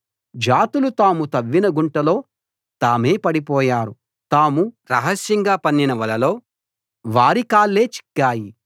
జాతులు తాము తవ్విన గుంటలో తామే పడిపోయారు తాము రహస్యంగా పన్నిన వలలో వారి కాళ్ళే చిక్కాయి